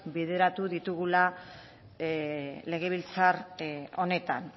bideratu ditugula legebiltzar honetan